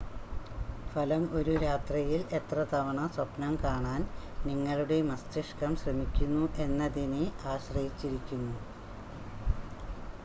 ഫലം ഒരു രാത്രിയിൽ എത്ര തവണ സ്വപ്നം കാണാൻ നിങ്ങളുടെ മസ്തിഷ്കം ശ്രമിക്കുന്നു എന്നതിനെ ആശ്രയിച്ചിരിക്കുന്നു